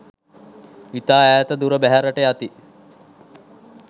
ඉතා ඈත දුර බැහැරට යති.